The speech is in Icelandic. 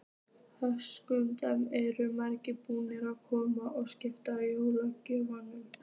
Höskuldur: Eru margir búnir að koma og skipta jólagjöfum?